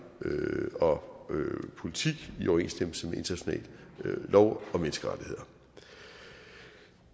politik i overensstemmelse med international lov og menneskerettigheder